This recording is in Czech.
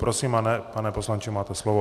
Prosím, pane poslanče, máte slovo.